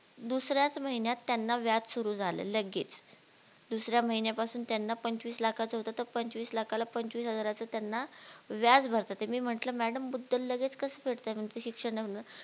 दुसऱ्याच महिन्यात त्यांना व्याज सुरू झालं लगेच दुसऱ्या महिन्यापासून त्यांना पंचवीस लाखाच होत तर पंचवीस लखला पंचवीस हजारच त्यांना व्याज भरतात मी म्हटल madam मुददल लगेच कसं फेडताय म्हणे शिक्षण नाही होणार